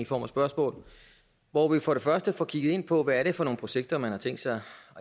form af spørgsmål hvor vi for det første får kigget på hvad det er for nogle projekter man har tænkt sig at